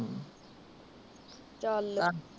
ਚੱਲ